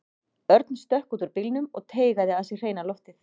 Örn stökk út úr bílnum og teygaði að sér hreina loftið.